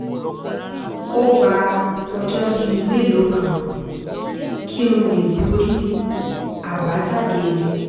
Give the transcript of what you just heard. um ó gba ọjọ́ bíi mélòó kan kí um n lè borí àbájáde rẹ̀